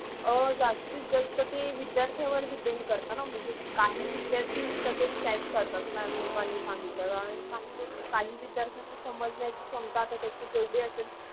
अं जास्तीस जास्त ते विद्यार्थ्यावर depend आहे. काही विद्यार्थ्या लगे catch करतात. mam लोकांनि सांगितल्यावर आणि काही विद्यार्थी चि समाजानाची शमता जेवधी असेल